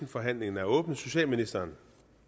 forhandlingen er åbnet socialministeren